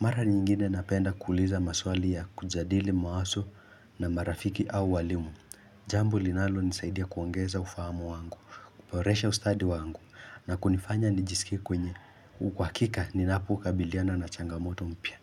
Mara nyingine napenda kuuliza maswali ya kujadili mawaso na marafiki au walimu. Jambo linalonisaidia kuongeza ufahamu wangu, kuboresha ustadi wangu na kunifanya nijisikie kwenye uhakika ninapokabiliana na changamoto mpya.